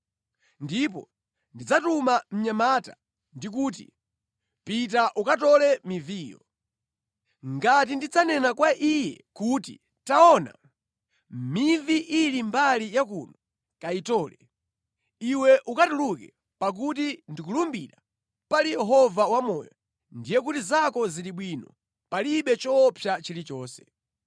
Ndipo ndidzatuma mnyamata ndi kuti, ‘Pita ukatole miviyo!’ Ngati ndidzanena kwa iye kuti, ‘Taona, mivi ili mbali yakuno, kayitole,’ iwe ukatuluke, pakuti ndikulumbira, pali Yehova Wamoyo, ndiye kuti zako zili bwino, palibe choopsa chilichonse.